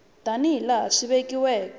tani hi laha swi vekiweke